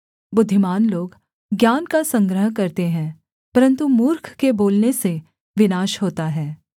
बुद्धिमान लोग ज्ञान का संग्रह करते है परन्तु मूर्ख के बोलने से विनाश होता है